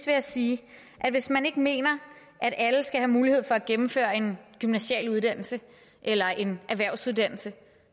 jeg sige at hvis man ikke mener at alle skal have mulighed for at gennemføre en gymnasiel uddannelse eller en erhvervsuddannelse